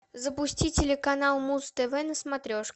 запусти телеканал муз тв на смотрешке